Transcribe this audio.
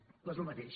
doncs el mateix